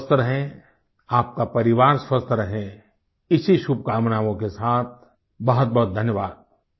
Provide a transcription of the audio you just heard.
आप स्वस्थ रहें आपका परिवार स्वस्थ रहे इसी शुभकामनाओं के साथ बहुत बहुत धन्यवाद